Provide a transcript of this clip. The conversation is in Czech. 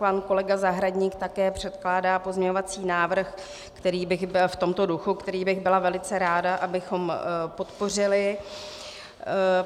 Pan kolega Zahradník také předkládá pozměňovací návrh v tomto duchu, který bych byla velice ráda, abychom podpořili.